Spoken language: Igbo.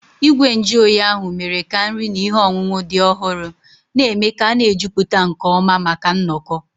Igwe nju oyi ahụ mere ka nri na ihe ọṅụṅụ dị ọhụrụ, na-eme ka a na-ejupụta nke ọma maka nnọkọ.